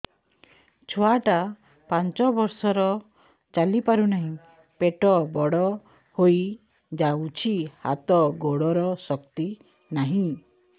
ଛୁଆଟା ପାଞ୍ଚ ବର୍ଷର ଚାଲି ପାରୁନାହଁ ପେଟ ବଡ ହୋଇ ଯାଉଛି ହାତ ଗୋଡ଼ର ଶକ୍ତି ନାହିଁ